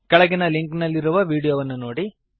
ಕೆಳಗಿನ ಲಿಂಕ್ ನಲ್ಲಿರುವ ವೀಡಿಯೋವನ್ನು ನೋಡಿರಿ